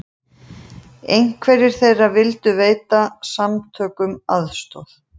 Einhverjir þeirra vildu veita samtökunum aðstoð